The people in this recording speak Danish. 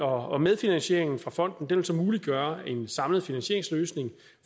og medfinansieringen fra fonden vil så muliggøre en samlet finansieringsløsning